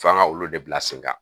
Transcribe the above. F'an ga olu de bila sen kan